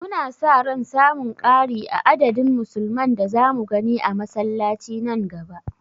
Muna sa ran samun ƙari a adadin musulman da zamu gani a masallaci nan gaba.